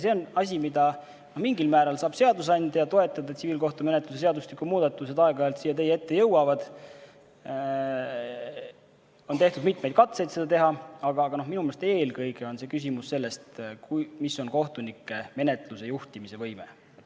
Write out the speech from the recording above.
See on asi, mida mingil määral saab toetada seadusandja – aeg-ajalt jõuavad siia teie ette tsiviilkohtumenetluse seadustiku muudatused, on tehtud mitmeid katseid seda teha –, aga minu meelest eelkõige on see küsimus sellest, milline on kohtunike menetluse juhtimise võime.